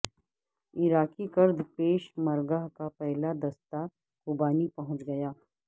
عراقی کرد Peshmerga کا پہلا دستہ کوبانی پہنچ گیا